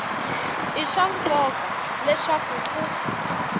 i swa nkoka leswaku ku